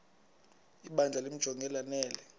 ibandla limjonge lanele